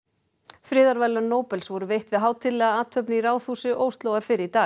friðarverðlaun Nóbels voru veitt við hátíðlega athöfn í Ráðhúsi Óslóar fyrr í dag